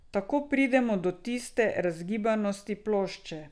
Tako pridemo do tiste razgibanosti plošče.